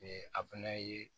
a fɛnɛ ye